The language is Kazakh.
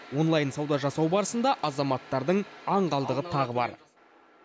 онлайн сауда жасау барысында азаматтардың аңғалдығы тағы бар